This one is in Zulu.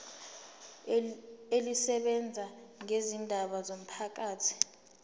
elisebenza ngezindaba zomphakathi